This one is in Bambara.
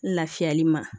Lafiyali ma